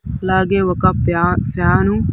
--లాగే ఒక్క pan fan ను.